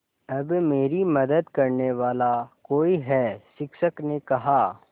अब मेरी मदद करने वाला कोई है शिक्षक ने कहा